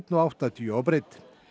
áttatíu á breidd